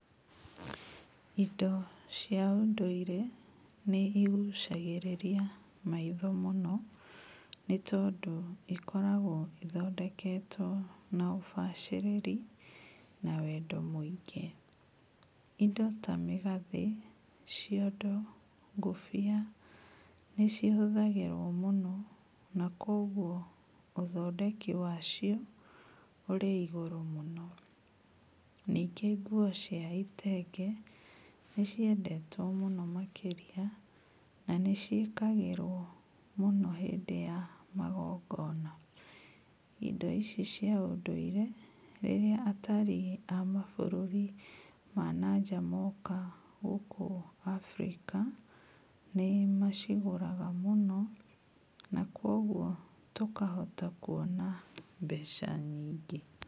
Indo cia ũndũire nĩ igũcagĩrĩria maitho mũno, nĩtondũ ikoragwo ithondeketwo na ũbacĩrĩri na wendo mũingĩ. Indo tamĩgathĩ, ciondo, ngũbia, nĩ cihũthagĩrwo mũno nakoguo ũthondeki wacio, ũrĩ igũrũ mũno. Ningĩ nguo cia itenge, nĩciendetwo mũno makĩria, na nĩ ciĩkagĩrwo mũno hĩndĩ yagongona. Indo ici cia ũndũire, rĩrĩa atari a mabũrũri ma nanja moka gũkũ Africa, nĩmacigũraga mũno, na kuoguo tũkahota kuona mbeca nyingĩ.